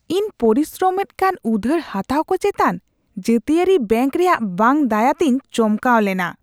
ᱤᱧ ᱯᱚᱨᱤᱥᱨᱚᱢ ᱮᱫ ᱠᱟᱱ ᱩᱫᱷᱟᱹᱨ ᱦᱟᱛᱟᱣ ᱠᱚ ᱪᱮᱛᱟᱱ ᱡᱟᱹᱛᱤᱭᱟᱹᱨᱤ ᱵᱮᱝᱠ ᱨᱮᱭᱟᱜ ᱵᱟᱝ ᱫᱟᱭᱟ ᱛᱮᱧ ᱪᱚᱢᱠᱟᱣ ᱞᱮᱱᱟ ᱾